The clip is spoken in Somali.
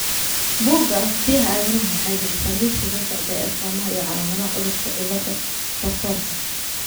Buugga Aragtiyaha Aadanaha waxay bixisaa liiska soo socda ee astamaha iyo calaamadaha cudurka cillada Rotorka .